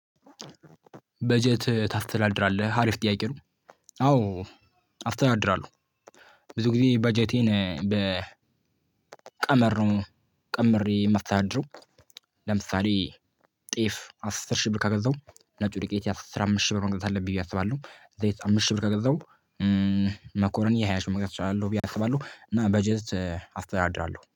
በጀት ታስተዳድራለህ አሪፍ ጥያቄ ነው? አዎ አስተዳድራለሁ ብዙ ጊዜ በጀቴን በቀመር ነው ቀምሬ የመሳተዳድረው። ለምሳሌ ጤፍ አስር ሺህ ብር ከገዛው ነጭ ዱቄት አስራ አምስት ሺህ ብር መግዛት አለብኝ። አስባለሁ ዘይት አምስት ሺህ ብር ከገዛው መኮረኒ የሃያ ሺ መግዛት እችላለሁ። ብዬ አስባለሁ እና በጀት አስተዳድራለሁ